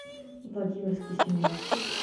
владимирский семнадцать